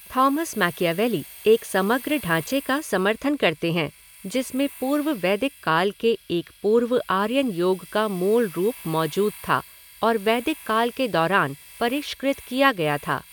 Thomas Machiavelli एक समग्र ढ़ांचे का समर्थन करते हैं जिसमें पूर्व वैदिक काल के एक पूर्व आर्यन योग का मूलरूप मौजूद था और वैदिक काल के दौरान परिष्कृत किया गया था।